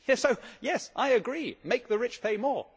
So yes, I agree make the rich pay more.